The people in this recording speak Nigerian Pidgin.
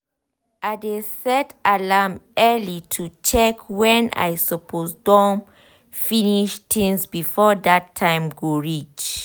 i dey set alarm early to check wen i suppose don finish tinz before dat time go reach